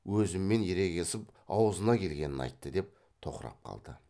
өзіммен ерегесіп аузына келгенін айтты деп тоқырап қалды